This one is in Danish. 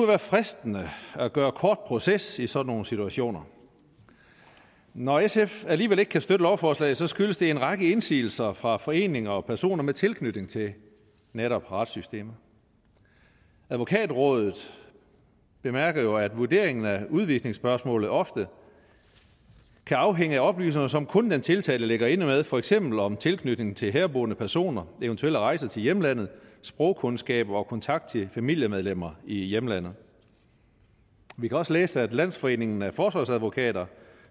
være fristende at gøre kort proces i sådan nogle situationer når sf alligevel ikke kan støtte lovforslaget skyldes det en række indsigelser fra foreninger og personer med tilknytning til netop retssystemet advokatrådet bemærker jo at vurderingen af udvisningsspørgsmålet ofte kan afhænge af oplysninger som kun den tiltalte ligger inde med for eksempel om tilknytning til herboende personer eventuelle rejser til hjemlandet sprogkundskaber og kontakt til familiemedlemmer i hjemlandet vi kan også læse at landsforeningen af forsvarsadvokater